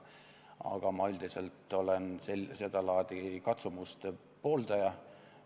Aga mina üldiselt olen seda laadi katsumuste pooldaja.